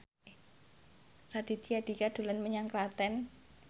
Raditya Dika dolan menyang Klaten